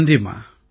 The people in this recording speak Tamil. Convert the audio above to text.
நன்றிம்மா